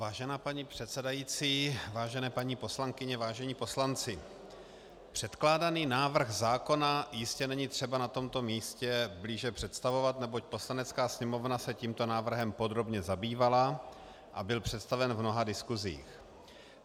Vážená paní předsedající, vážené paní poslankyně, vážení poslanci, předkládaný návrh zákona jistě není třeba na tomto místě blíže představovat, neboť Poslanecká sněmovna se tímto návrhem podrobně zabývala a byl představen v mnoha diskuzích.